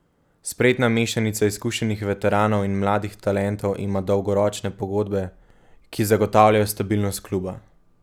Spretna mešanica izkušenih veteranov in mladih talentov ima dolgoročne pogodbe, ki zagotavljajo stabilnost kluba.